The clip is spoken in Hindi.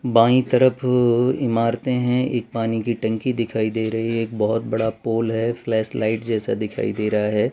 बाई तरफ इमारते हैं एक पानी की टंकी दिखाई दे रही है एक बहोत बड़ा पोल है फ्लैशलाइट जैसा दिखाई दे रहा है।